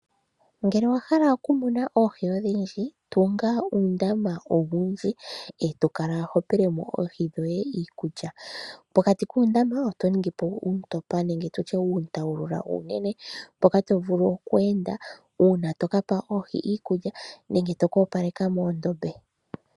Ngele owa hala okumuna oohi odhindji, tunga uundama owundji e to kala ho pele mo oohi dhoye iikulya. Pokati kuundama oto ningi po uuntopa nenge uuntawulula uunene mpoka to vulu oku enda uuna to ka pa oohi iikulya nenge to ka opaleka muundombe.